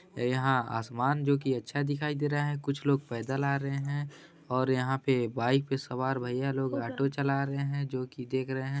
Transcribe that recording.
यहाँ आसमान जो की अच्छा दिखाई दे रहा है कुछ लोग पैदल आ रहे है और यहाँ पे पे सवार भईया लोग ऑटो चला रहे है जो के देख रहे है।